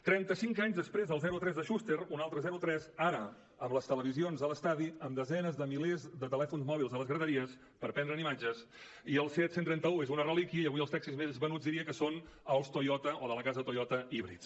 trenta cinc anys després del zero a tres de schuster un altre zero a tres ara amb les televisions a l’estadi amb desenes de milers de telèfons mòbils a les graderies per prendre’n imatges i el seat cent i trenta un és una relíquia i avui els taxis més venuts diria que són els toyota o de la casa toyota híbrids